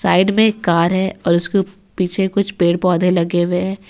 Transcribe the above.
Side में एक car है और उसके पीछे कुछ पेड़ पौधे लगे हुए।